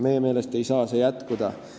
Meie meelest ei saa see jätkuda.